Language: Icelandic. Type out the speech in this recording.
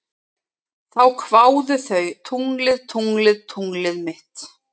Þá kváðu þau: Tunglið, tunglið, tunglið mitt